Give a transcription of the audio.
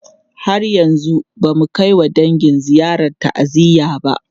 Har yanzu ba mu kai wa dangi ziyarar ta'aziyya ba.